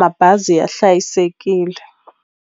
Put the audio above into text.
mabazi ya hlayisekile.